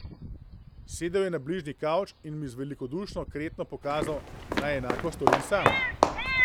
Sedel je na bližnji kavč in mi z velikodušno kretnjo pokazal, naj enako storim sam.